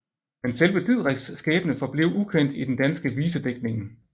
Men selve Didriks skæbne forblev ukendt i den danske visedigtning